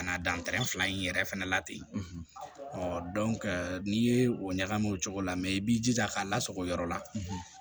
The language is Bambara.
Ka na dan fila in yɛrɛ fɛnɛ la ten n'i ye o ɲagami o cogo la i b'i jija k'a lasago yɔrɔ la